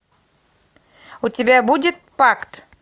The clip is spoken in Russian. у тебя будет пакт